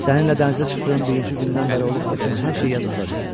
Səninlə dənizə çıxdığım birinci gündən bəri olub keçən hər şey yadımdadır.